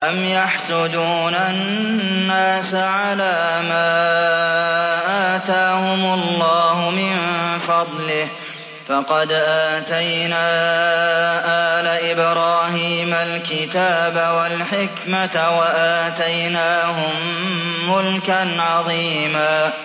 أَمْ يَحْسُدُونَ النَّاسَ عَلَىٰ مَا آتَاهُمُ اللَّهُ مِن فَضْلِهِ ۖ فَقَدْ آتَيْنَا آلَ إِبْرَاهِيمَ الْكِتَابَ وَالْحِكْمَةَ وَآتَيْنَاهُم مُّلْكًا عَظِيمًا